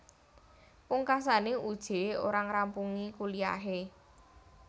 Pungkasane Uje ora ngrampungi kuliahe